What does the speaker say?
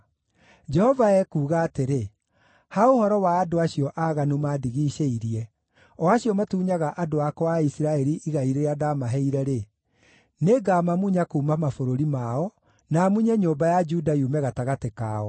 Jehova ekuuga atĩrĩ: “Ha ũhoro wa andũ acio aaganu maandigiicĩirie, o acio matunyaga andũ akwa a Isiraeli igai rĩrĩa ndaamaheire-rĩ, nĩngamamunya kuuma mabũrũri mao, na munye nyũmba ya Juda yume gatagatĩ kao.